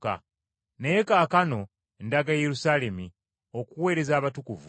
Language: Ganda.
Naye kaakano ndaga e Yerusaalemi okuweereza abatukuvu.